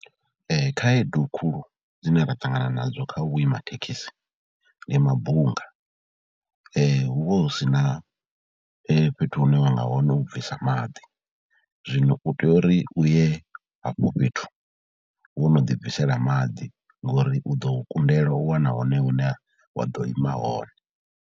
Khaedu khulu dzine ra ṱangana nadzo kha u vhuima thekhisi ndi mabunga, hu vha hu si na fhethu hune wa nga wana u bvisa maḓi, zwino u tea uri u ye hafho fhethu wo no ḓibvisela maḓi ngori u ḓo kundelwa u wana hone hune wa ḓo ima hone.